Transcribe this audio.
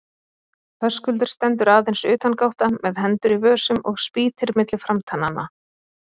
Höskuldur stendur aðeins utangátta með hendur í vösum og spýtir milli framtannanna.